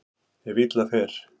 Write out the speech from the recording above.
Ef illa fer.